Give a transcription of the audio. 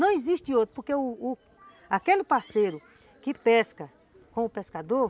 Não existe outro, porque u u aquele parceiro que pesca com o pescador,